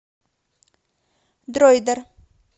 дроидер